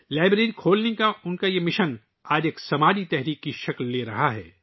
library کھولنے کا ان کا مشن آج ایک سماجی تحریک کی شکل اختیار کر رہا ہے